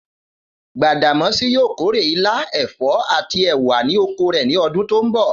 Gbàdàmó̩sí yóò kórè ilá, è̩fó̩ àti è̩wà ní oko rè̩ ní o̩dún tó ń bò̩